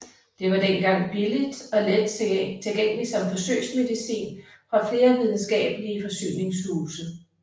Det var dengang billigt og let tilgængeligt som forsøgsmedicin fra flere videnskabelige forsyningshuse